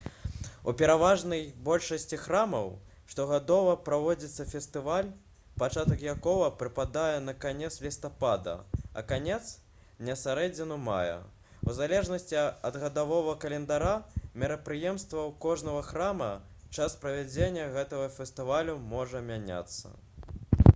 у пераважнай большасці храмаў штогадова праводзіцца фестываль пачатак якога прыпадае на канец лістапада а канец на сярэдзіну мая у залежнасці ад гадавога календара мерапрыемстваў кожнага храма час правядзення гэтага фестывалю можа мяняцца